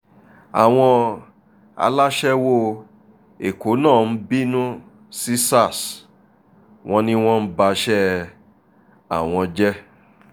àwọn aláṣẹwọ́ ẹ̀kọ́ náà ń bínú sí sars wọn ni wọ́n ń bàṣẹ àwọn jẹ́